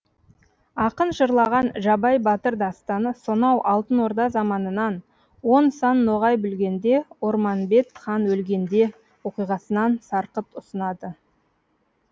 ақын жырлаған жабай батыр дастаны сонау алтын орда заманынан он сан ноғай бүлгенде орманбет хан өлгенде оқиғасынан сарқыт ұсынады